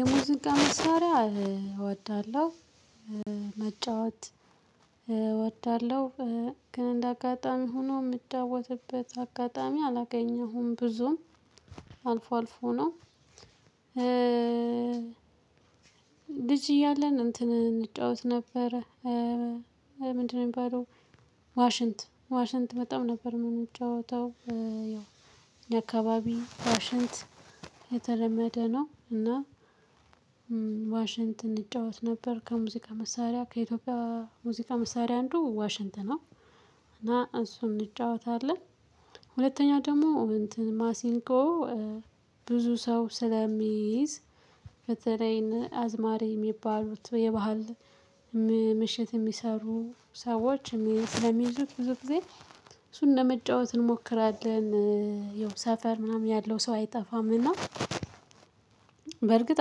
የሙዚቃ መሳሪያ እወዳለሁ መጫወት እወዳለሁ ግን እንደ አጋጣሚ ሆኖ የምጫወትበት አጋጣሚ አላገኘሁም ብዙም አልፎ አልፎ ነው። ልጅ እያለን እንትን እንጫወት ነበር። ምንድነው የሚባለው ዋሽንት ዋሽንት በጣም ነበር ምንጫወተው። ያው የአካባቢ ዋሽንት የተለመደ ነው እና ዋሽንት እንጫወት ነበር ከሙዚቃ መሳሪያ ከኢትዮጵያ ሙዚቃ መሳሪያ አንዱ ዋሽንት ነው። እና እሱን እንጫወታለን ሁለተኛ ደግሞ እንትን ማሲንቆ ብዙ ሰው ስለሚይዝ በተለይ አዝማሪ የሚባሉት የባህል ምሽት የሚሰሩ ሰዎች ስለሚይዙት ብዙ ጊዜ እሱን ለመጫወት እንሞክራለን። ያው ሰፈር ምናምን ያለው ሰው አይጠፋም እና በእርግጥ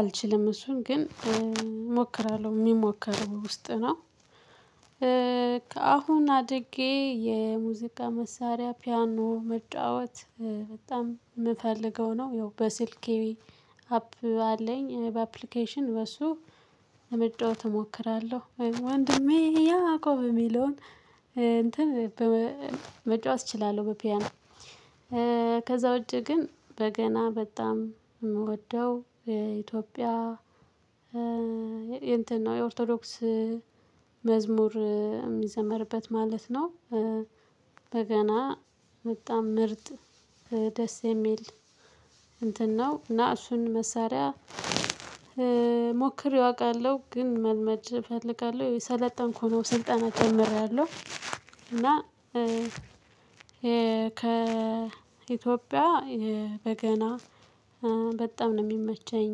አልችልም እሱን ግን እሞክራለሁ የሚሞክረው ውስጥ ነው። አሁን አድጌ የሙዚቃ መሳሪያ ፒያኖ መጫወት በጣም የምፈልገው ነው። ያው በስልኬ አፕ አለኝ በአፕሊኬሽን በሱ ለመጫወት እሞክራለሁ ወንድሜ ያቆብ የሚለውን እንትን መጫወት እችላለሁ። በፒያኖ ከዛ ውጪ ግን በገና በጣም የምወደው የኢትዮጵያ የእንትን ነው የኦርቶዶክስ መዝሙር እሚዘመርበት ማለት ነው። በገና በጣም ምርጥ ደስ የሚል እንትን ነው እና እሱን መሳሪያ ሞክሬው አውቃለሁ ግን መልመድ እፈልጋለሁ የሰለጠንኩ ነው ስልጠና ጀምሬያለሁ። እና ከ ኢትዮጵያ በገና በጣም ነው የሚመቸኝ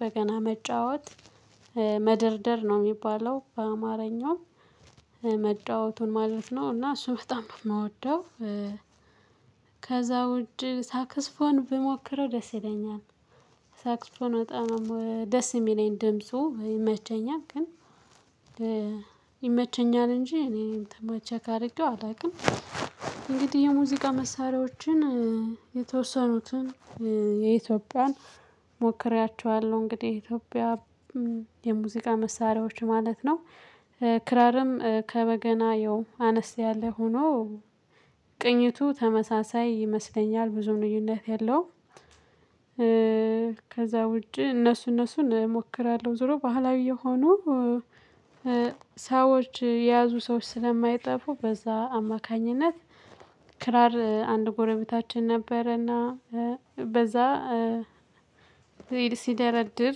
በገና መጫወት መደርደር ነው የሚባለው በአማረኛው መጫወቱን ማለት ነው። እና እሱም በጣም በምወደው ከዛ ውድ ሳክስፎን ብሞክረው ደስ ይለኛል። ሳክስፎን በጣም ነው ደስ የሚለኝ ድምፁ ይመቸኛል ግን ይመቸኛል እንጂ እኔን ተማ ቸክ አድርጌው አላውቅም። እንግዲህ የሙዚቃ መሳሪያዎችን የተወሰኑትን የኢትዮጵያን ሞክሬያቸዋለሁ እንግዲህ የኢትዮጵያ የሙዚቃ መሳሪያዎች ማለት ነው። ክራርም ከበገና ያው አነስ ያለ ሆኖ ቅኝቱ ተመሳሳይ ይመስለኛል ብዙም ልዩነት የለውም። ከዛ ውጪ እነሱ እነሱን እሞክራለሁ ዞሮ ባህላዊ የሆኑ ሰዎች የያዙ ሰዎች ስለማይጠፉ በዛ አማካኝነት። ክራር አንድ ጎረቤታችን ነበረና በዛ ሲደረድር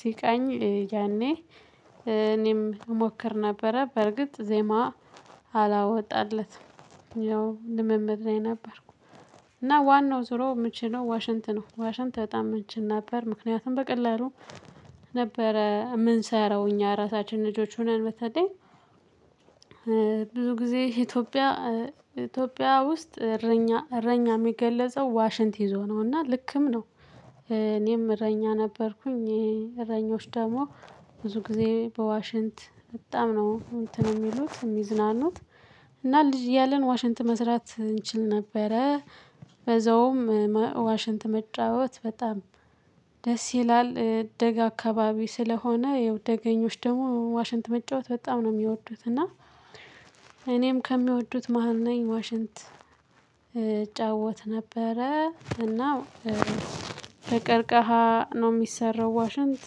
ሲቃኝ ያኔ እኔም እሞክር ነበረ በርግጥ ዜማ አላወጣለትም። ያው ልምምድ ላይ ነበርኩ። እና ዋናው ዙሮ ምችለው ዋሽንት ነው ዋሽንት በጣም እንችል ነበር ምክንያቱም በቀላሉ ነበረ ምንሰራው እኛ ራሳችን ልጆች ሆነን በተለይ ብዙ ጊዜ ኢትዮጵያ ኢትዮጵያ ውስጥ እረኛ እረኛ የሚገለጸው ዋሽንት ይዞ ነው እና ልክም ነው። እኔም እረኛ ነበርኩኝ እረኞች ደግሞ ብዙ ጊዜ በዋሽንት በጣም ነው እንትን የሚሉት የሚዝናኑት እና ልጅ እያለን ዋሽንት መስራት እንችል ነበረ። በዛውም ዋሽንት መጫወት በጣም ደስ ይላል ደጋ አካባቢ ስለሆነ ያውጨደገኞች ደግሞ ዋሽንት መጫወት በጣም ነው የሚወዱት እና። እኔም ከሚወዱት መሃል ነኝ ዋሽንት እጫወት ነበረ እና ከቀርቀሃ ነው የሚሰራው ዋሽንት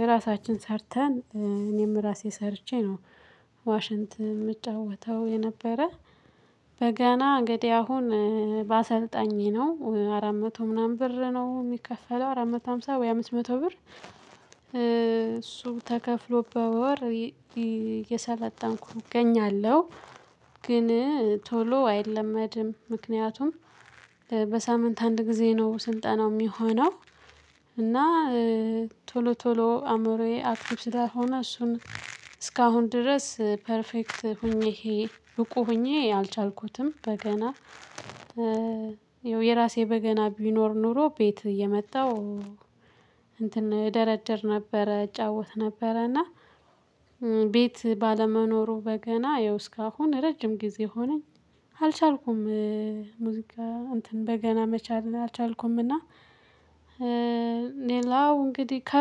የራሳችን ሰርተን እኔም ራሴ ሰርቼ ነው። ዋሽንት ምጫወተው የነበረ በገና እንግዲህ አሁን በአሰልጣኝ ነው አራት መቶ ምናምን ብር ነው የሚከፈለው። አራት መቶ ሃምሳ ወይ አምስት መቶ ብር እሱ ተከፍሎ በወር የሰለጠንኩኝ እገኛለሁ። ግን ቶሎ አይለመድም ምክንያቱም በሳምንት አንድ ጊዜ ነው ስልጠናው የሚሆነው። እና ቶሎ ቶሎ አእምሮዬ አክቲቭ ስላልሆነ እሱን እስካሁን ድረስ ፐርፌክት ሆኜ ይሄ ብቁ ሆኜ አልቻልኩትም። በገና ያው የራሴ በገና ቢኖር ኖሮ ቤት እየመጣሁ እንትን እደረድር ነበረ እጫወት ነበረ እና ቤት ባለመኖሩ በገና ያው እስካሁን ረጅም ጊዜ ሆነኝ አልቻልኩም። ሙዚቃ እንትን በገና መቻል አልቻልኩምና። ሌላው እንግዲህ ከ